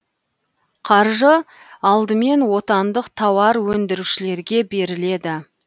қаржы алдымен отандық тауар өндірушілерге беріледі